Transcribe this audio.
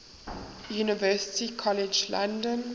university college london